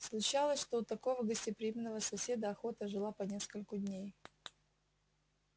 случалось что у такого гостеприимного соседа охота жила по нескольку дней